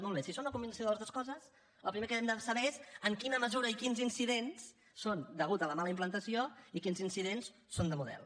molt bé si són una combinació de les dues coses el primer que hem de saber és en quina mesura i quins incidents són deguts a la mala implantació i quins incidents són de model